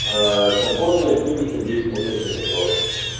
аа совхозная семьдесят девять восточный посёлок